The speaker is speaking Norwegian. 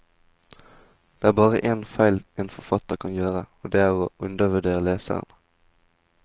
Det er bare en feil en forfatter kan gjøre, og det er å undervurdere leseren.